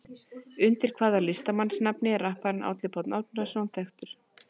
Undir hvaða listamannsnafni er rapparinn Árni Páll Árnason þekktur?